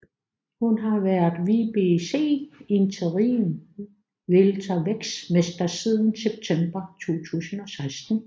Hun har været WBC Interim Weltervægtsmester siden september 2016